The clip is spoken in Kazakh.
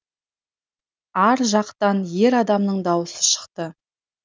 ар жақтан ер адамның дауысы шықты